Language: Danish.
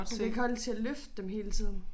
Hun kan ikke holde til at løfte dem hele tiden